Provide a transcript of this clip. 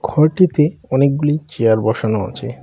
ঘরটিতে অনেকগুলি চেয়ার বসানো আছে।